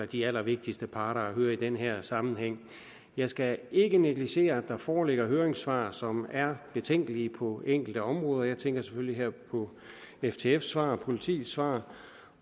de allervigtigste parter at høre i den her sammenhæng jeg skal ikke negligere at der foreligger høringssvar fra som er betænkelige på enkelte områder jeg tænker selvfølgelig her på ftfs svar politiets svar